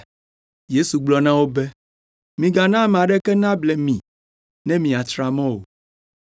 Yesu gblɔ na wo be, “Migana ame aɖeke nable mi ne miatra mɔ o.